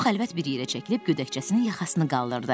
Tom xəlvət bir yerə çəkilib gödəkcəsinin yaxasını qaldırdı.